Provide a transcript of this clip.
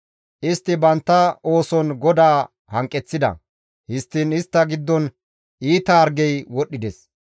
Istti bantta ooson GODAA hanqeththida; histtiin istta giddon iita hargey wodhdhides.